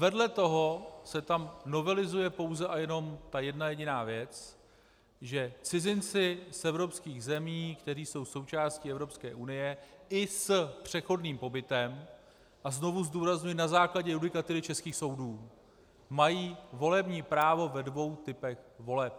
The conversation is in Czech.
Vedle toho se tam novelizuje pouze a jenom ta jedna jediná věc, že cizinci z evropských zemí, které jsou součástí Evropské unie, i s přechodným pobytem - a znovu zdůrazňuji, na základě judikatury českých soudů - mají volební právo ve dvou typech voleb.